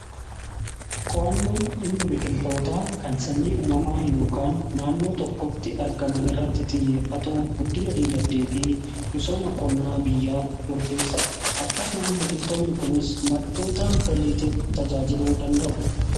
Qowannoon dhimma biqiltoota kan sanyii uumamaa yookaan naannoo tokkotti argaman irratti xiyyeeffatuu guddina diinagdee fi misooma qonnaa biyyaaf murteessadha. Akkasuma biqiltoonni kunis maddoota galiitiif tajaajiluu danda'u.